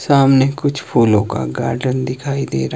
सामने कुछ फूलो का गार्डन दिखाई दे रहा--